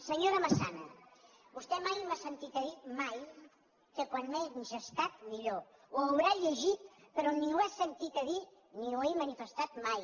senyora massana vostè mai m’ha sentit a dir mai que com menys estat millor ho deu haver llegit però ni ho ha sentit a dir ni ho he manifestat mai